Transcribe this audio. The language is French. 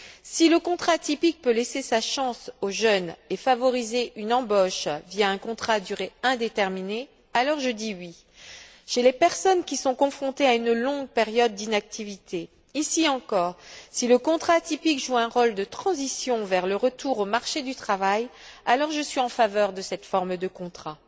Si le contrat atypique peut laisser sa chance aux jeunes et favoriser une embauche via un contrat à durée indéterminée, alors je dis oui. Chez les personnes qui sont confrontées à une longue période d'inactivité, ici encore, si le contrat atypique joue un rôle de transition vers le retour au marché du travail, alors je suis en faveur de cette forme de contrat.